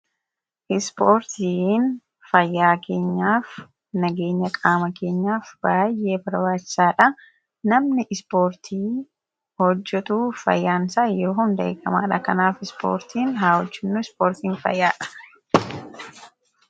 Ispoortiin fayyaa keenyaaf, nageenya qaama keenyaf baay'ee barbaachisaadhaa. Namni ispoortii hojjetuu fayyaansaa yeroo hunda eegamaadha. Kanaaf ispoortii haa hojjennu .Ispoortiin fayyaadha.